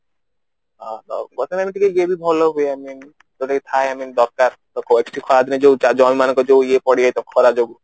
ଇଏ ବି ଭଲ ହୁଏ I mean ଜୌତ କି ଥାଏ I mean ଦରକାର ଜମି ମାନଙ୍କରେ ପଡିଯାଇଥିବା ଖରା ଯୋଗୁଁ